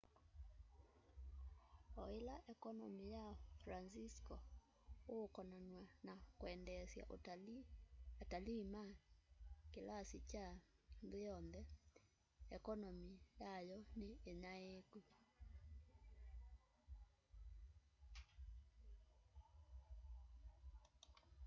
o ila ekonomi ya francisco ukonanaw'a na kwendeesya atalii ma kilasi kya nthi yonthe ekonomi yayo ni inyaiiku